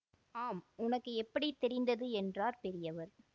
ஆம் உனக்கு எப்படி தெரிந்தது என்றார் பெரியவர்